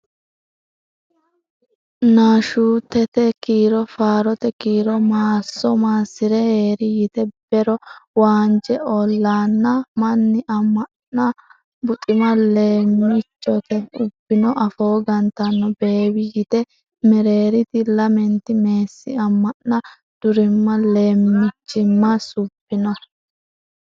Nashuutete Kiiro Faarote Kiiro Maasso maassi’ri hee’ri yite Be’ro waanje ollanna Manni amanna buxima Leemmichote ubbino Afoo gantanno beewi yite Mereeriti lamenti Meessi amanna durimma Leemmichimma subbino.